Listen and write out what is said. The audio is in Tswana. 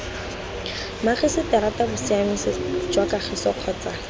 mmagiseterata bosiamisi jwa kagiso kgotsa